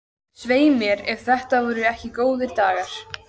Svei mér ef þetta voru ekki góðir dagar.